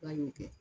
Wa n y'o kɛ